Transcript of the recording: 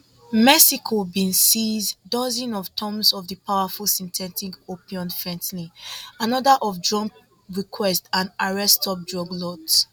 mexico bin seize dozens of tonnes of di powerful synthetic opioid fentanyl anoda of trump requests and arrest top drug lords